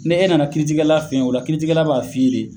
Ne e nana kiitigɛkɛla fe yen o la kiitigɛkɛ la b'a f'i ye de